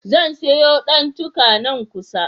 Zan siyo ɗantuka, nan kusa.